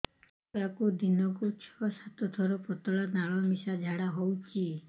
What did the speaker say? ଛୁଆକୁ ଦିନକୁ ଛଅ ସାତ ଥର ପତଳା ନାଳ ମିଶା ଝାଡ଼ା ହଉଚି